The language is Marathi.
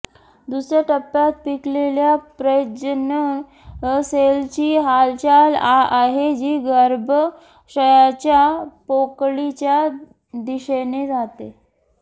दुसऱ्या टप्प्यात पिकलेल्या प्रजनन सेलची हालचाल आहे जी गर्भाशयाच्या पोकळीच्या दिशेने जाते